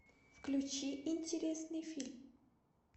включи интересный фильм